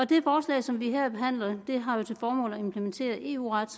det forslag som vi her behandler har til formål at implementere eu ret